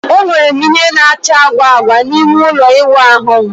Enwere m ìhè na-acha agwa agwa n'ime ụlọ ịwụ ahu m.